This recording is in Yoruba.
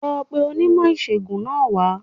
Lọ pe onímò ìṣègùn náà wá